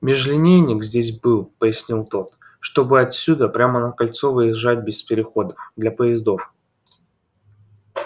межлинейник здесь был пояснил тот чтобы отсюда прямо на кольцо выезжать без переходов для поездов